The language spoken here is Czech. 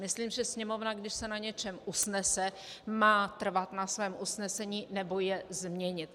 Myslím, že Sněmovna, když se na něčem usnese, má trvat na svém usnesení nebo je změnit.